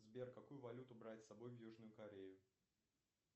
сбер какую валюту брать с собой в южную корею